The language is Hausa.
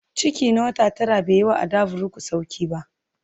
Ciki na wata tara bai yi wa Adavuruku sauƙi ba